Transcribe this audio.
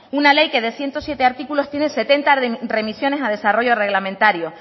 una ley que de ciento siete artículos tiene setenta remisiones a desarrollo reglamentario